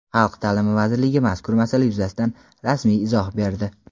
Xalq ta’limi vazirligi mazkur masala yuzasidan rasmiy izoh berdi.